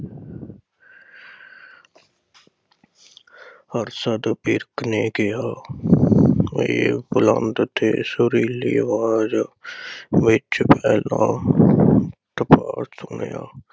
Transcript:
ਹਰਸ਼ਦ ਵਿਰਕ ਨੇ ਕਿਹਾ ਇਹ ਬੁਲੰਦ ਤੇ ਸਰੀਲੀ ਆਵਾਜ ਵਿਚ ਪੈਦਾ ਸੁਣਿਆ।